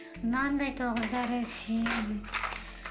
мынандай тоғыз дәрі ішемін